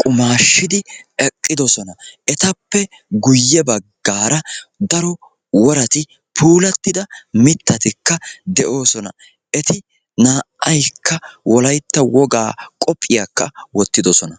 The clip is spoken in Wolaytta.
qumaashshidi eqqidosona. Etappe guyye baggaara daro worati puulattida mittatikka de'oosona. Eti naa"aykka wolaytta wogaa qophiyaakka wottidosona.